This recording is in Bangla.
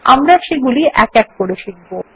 আমরা সেগুলি এক এক করে শিখব